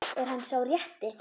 Er hann sá rétti?